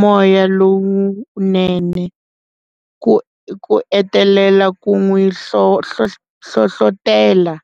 moya lowunene ku ku engetelela ku n'wi hlohlotela.